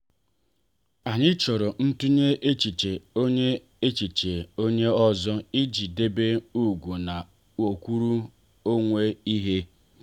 anyị chọrọ ntunye echiche onye echiche onye ọzọ ị ji debe ugwu na nkwuru onwe ihe.